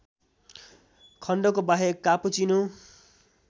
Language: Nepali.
खण्डको बाहेक कापुचीनो